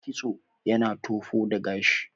kitso yana tofo da gashi